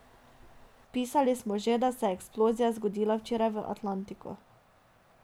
Pisali smo že, da se je eksplozija zgodila včeraj v Atlantiku.